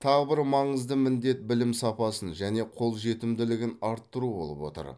тағы бір маңызды міндет білім сапасын және қолжетімділігін арттыру болып отыр